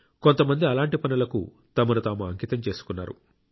కొంతమంది అలాంటి పనులకు తమను తాము అంకితం చేసుకున్నారు